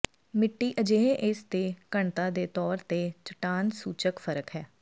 ਮਿੱਟੀ ਅਜਿਹੇ ਇਸ ਦੇ ਘਣਤਾ ਦੇ ਤੌਰ ਤੇ ਚੱਟਾਨ ਸੂਚਕ ਫ਼ਰਕ ਹੈ